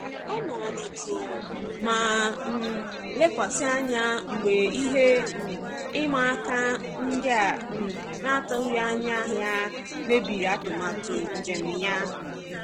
Ọ nọrọ jụụ ma um lekwasị anya mgbe ihe um ịma aka ndị a um n'atụghị anya ya mebiri atụmatụ njem ya.